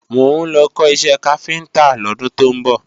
Mò ń lọ kọ́ iṣẹ́ káfíntá lọ́dún tó ń bọ̀